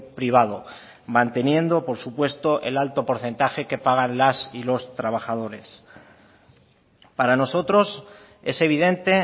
privado manteniendo por supuesto el alto porcentaje que pagan las y los trabajadores para nosotros es evidente